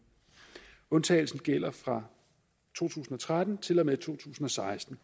undtagelsen gælder fra to tusind og tretten til og med to tusind og seksten